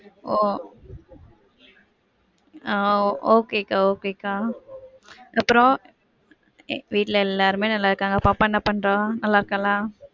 ஒ okay கா okay கா. அப்புறம்? வீட்ல எல்லாருமே நல்லா இருக்காங்க. பாப்பா என்ன பண்றா? நல்லா இருக்காளா?